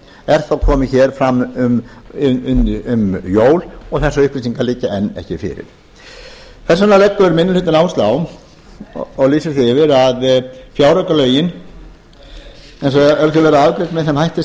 er þá komið fram um jól og þessar upplýsingar liggja enn ekki fyrir þess vegna leggur minni hlutinn áherslu á og lýsir því yfir að fjáraukalögin ef þau verða afgreidd með þeim hætti